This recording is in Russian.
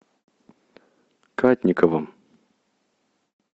кадниковым